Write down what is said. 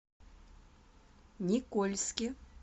никольске